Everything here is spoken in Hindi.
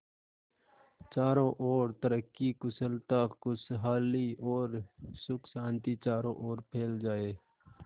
चारों और तरक्की कुशलता खुशहाली और सुख शांति चारों ओर फैल जाए